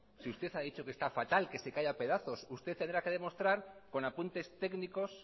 si usted ha dicho que está fatal que se cae a pedazos usted tendrá que demostrar con apuntes técnicos